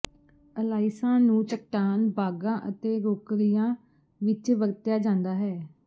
ਅਲਾਇਸਾਂ ਨੂੰ ਚਟਾਨ ਬਾਗਾਂ ਅਤੇ ਰੌਕਰੀਆਂ ਵਿਚ ਵਰਤਿਆ ਜਾਂਦਾ ਹੈ